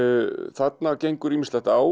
þarna gengur ýmislegt á